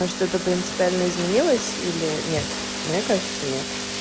что-то принципиально изменилась или нет мне кажется нет